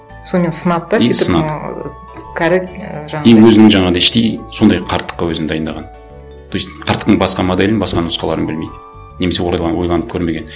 сонымен сынады да и сынады кәрі і жаңағындай и өзінің жаңағындай іштей сондай қарттыққа өзін дайындаған то есть қарттықтың басқа моделін басқа нұсқаларын білмейді немесе ойланып көрмеген